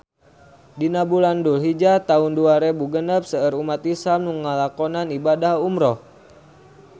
Dina bulan Dulhijah taun dua rebu genep seueur umat islam nu ngalakonan ibadah umrah